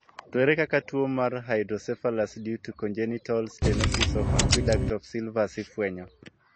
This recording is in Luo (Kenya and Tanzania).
To ere kaka tuo mar hydrocephalus due to congenital stenosis of aqueduct of sylvius ifwenyo?